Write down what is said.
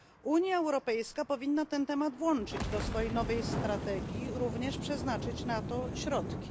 Unia Europejska powinna ten temat włączyć do swojej nowej strategii i również przeznaczyć na to środki.